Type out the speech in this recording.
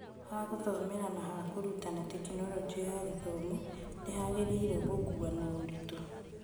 Hagũthomera na hakũrutana Tekinoronjĩ ya Gĩthomo nĩhagĩrĩirwo gũkuo na ũritũ.